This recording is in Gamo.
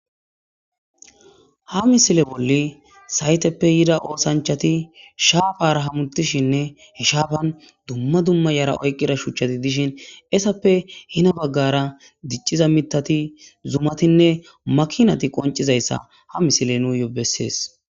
ha misile bolla sayteppe yida oosanchati shaafara hamutishinne he shaafan dumma dumma yara oykkida shuchati dishin esappe hina baggara dicciza mithati zumatinne makinati qoncizayssa ha misile nussi bessees